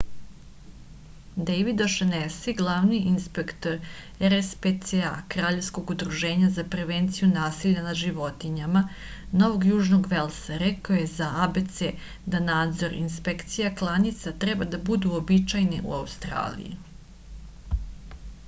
дејвид ошенеси главни инспектор rspca краљевског удружења за превенцију насиља над животињама новог јужног велса рекао је за abc да надзор и инспекција кланица треба да буду уобичајене у аустралији